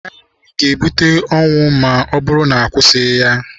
Agha na-ebute ọnwụ ma ọ bụrụ na akwụsịghị ya.